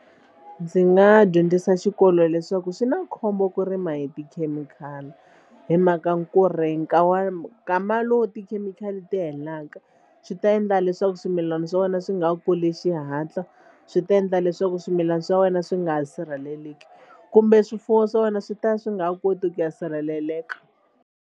Ndzi nga dyondzisa xikolo leswaku swi na khombo ku rima hi tikhemikhali hi mhaka ku ri nkama lowu tikhemikhali ti helaka swi ta endla endla leswaku swimilana swa wena swi nga kuli xihatla swi ta endla leswaku swimilana swa wena swi nga sirheleleki kumbe swifuwo swa wena swi ta swi nga koti ku ya sirheleleka.